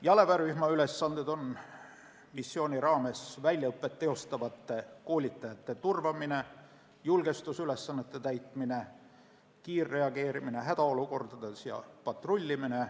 Jalaväerühma ülesanded on missiooni raames väljaõpet teostavate koolitajate turvamine, julgestusülesannete täitmine, kiirreageerimine hädaolukordades ja patrullimine.